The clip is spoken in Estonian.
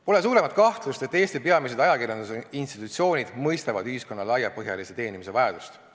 Pole suuremat kahtlust, et Eesti peamised ajakirjandusinstitutsioonid mõistavad ühiskonna laiapõhjalise teenimise vajadust.